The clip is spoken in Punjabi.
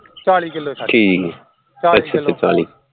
ਚਾਲੀ kilo